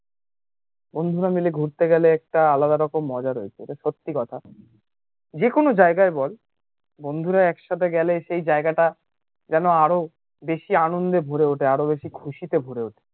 বন্ধুরা মিলে ঘুরতে গেলে একটা আলাদা রকম মজা রয়েছে এটা সত্যি কথা যেকোনো জায়গায় বল বন্ধুরা একসাথে গেলে সেই জায়গাটা জানো আরো বেশি আনন্দে ভরে ওঠে আরো বেশি খুশিতে ভরে ওঠে